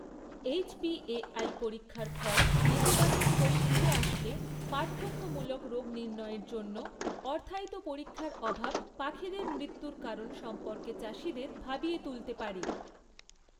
HPAI পরীক্ষার ফল নেতিবাচক হয়ে ফিরে আসলে পার্থক্যমূলক রোগ নির্ণয়ের জন্য অর্থায়িত পরীক্ষার অভাব পাখিদের মৃত্যুর কারণ সম্পর্কে চাষীদের ভাবিয়ে তুলতে পারে।